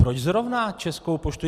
Proč zrovna Českou poštu?